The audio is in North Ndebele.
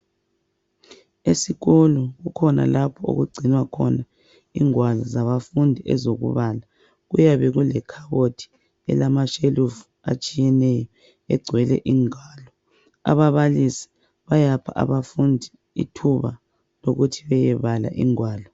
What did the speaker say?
Esikolo kukhona lapho okugcinwa khona ingwalo zabafundi ezokubala, kuyabe kulekhabothi elamashelifu atshiyeneyo egcwele ingwalo, ababalisi bayapha abafundi ithuba lokuthi beyebala ingwalo.